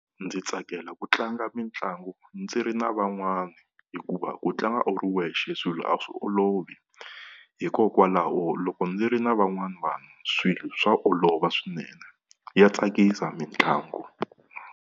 Ndzi tsakela ku tlanga mitlangu ndzi ri na van'wana, hikuva ku tlanga u ri wexe swilo a swi olovi. Hikokwalaho loko ndzi ri na van'wana vanhu swilo swa olova swinene ya tsakisa mitlangu.